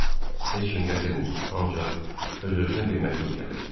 Heç kim gətirməyib, ancaq öz-özünə bir məktub gəlib.